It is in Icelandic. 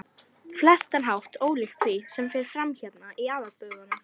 flestan hátt ólíkt því, sem fer fram hérna í aðalstöðvunum.